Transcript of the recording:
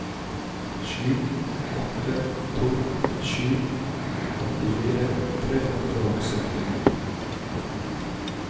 sju åtte to sju åttifire tre hundre og syttini